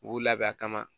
U b'u labɛn a kama